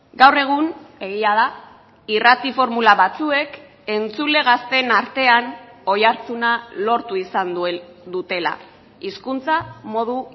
gaur egun egia da irrati formula batzuek entzule gazteen artean oihartzuna lortu izan dutela hizkuntza modu